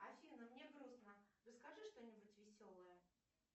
афина мне грустно расскажи что нибудь веселое